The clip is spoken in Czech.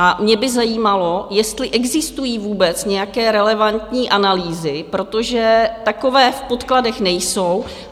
A mě by zajímalo, jestli existují vůbec nějaké relevantní analýzy, protože takové v podkladech nejsou.